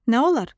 Nə olar?